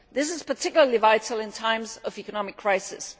This is particularly vital in times of economic crisis.